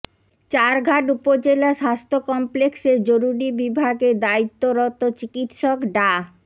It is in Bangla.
চারঘাট উপজেলা স্বাস্থ্য কমপ্লেক্সের জরুরি বিভাগে দায়িত্বরত চিকিৎসক ডা